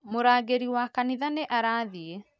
Murangĩri wa kanitha nĩ arathiĩ